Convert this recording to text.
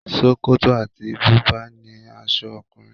Ṣòkòtò àti bùbá ni aṣọ ọkùnrin.